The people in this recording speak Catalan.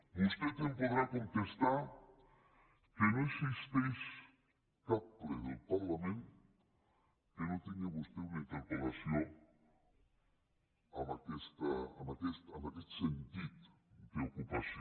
vostè em podrà contestar que no existeix cap ple del parlament en què no tingui vostè una interpel·lació en aquest sentit d’ocupació